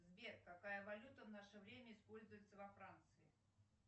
сбер какая валюта в наше время используется во франции